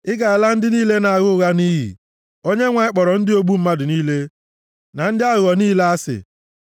Ị ga-ala ndị niile na-agha ụgha nʼiyi; Onyenwe anyị kpọrọ ndị ogbu mmadụ niile na ndị aghụghọ niile asị.